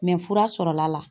fura sɔrɔla la.